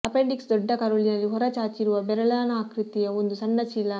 appendix ದೊಡ್ಡ ಕರುಳಿನಲ್ಲಿ ಹೊರ ಚಾಚಿರುವ ಬೆರಳಿನಾಕೃತಿಯ ಒಂದು ಸಣ್ಣ ಚೀಲ